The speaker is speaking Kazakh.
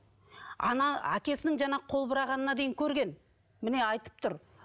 ана әкесінің жаңағы қол бұрағанына дейін көрген міне айтып тұр